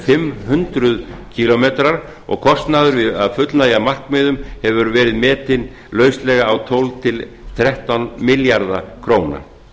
fimm hundruð kílómetrar og kostnaður við að fullnægja markmiðum hefur verið metinn lauslega á tólf til þrettán milljarða króna